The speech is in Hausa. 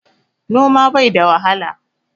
Noma bai da wahala.